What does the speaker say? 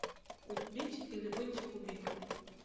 убить или быть убитым